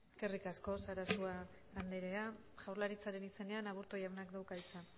eskerrik asko sarasua andrea jaurlaritzaren izenean aburto jaunak dauka hitza